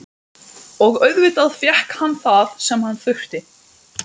Og auðvitað fékk hann það sem hann þurfti.